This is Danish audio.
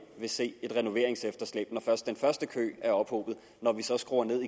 vil se et renoveringsefterslæb når først den første kø er ophobet og når vi så skruer ned